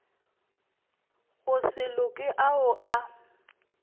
go se loke ao a